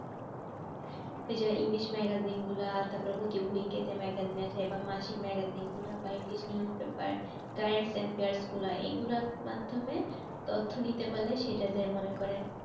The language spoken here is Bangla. ওই যো english magazine গুলো তারপর প্রতি weak এ যে magazine আসে এবং মাসিক magazine গুলো বা english news paper গুলা এগুলার মাধ্যমে তথ্য নিতে পারলে সেটা যে মনে করেন